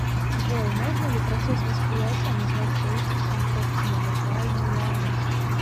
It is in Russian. джой можно ли процесс восприятия назвать строительством собственной виртуальной реальности